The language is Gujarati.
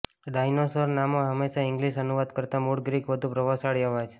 ડાઈનોસોર નામો હંમેશા ઇંગલિશ અનુવાદ કરતાં મૂળ ગ્રીક વધુ પ્રભાવશાળી અવાજ